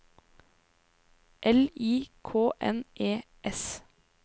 L I K N E S